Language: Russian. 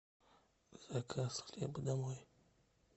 заказ хлеба домой